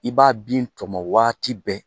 I b'a bin tɔmɔ waati bɛɛ